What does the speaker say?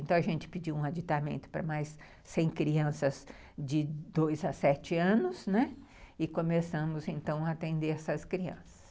Então, a gente pediu um adiantamento para mais cem crianças de dois a sete anos, e começamos, então, a atender essas crianças.